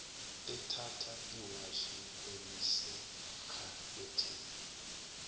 ethatha iwashi elisekhabetheni